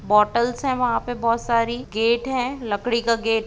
Bottle से वहां पर बहुत सारी गेट है लकड़ी का गेट ।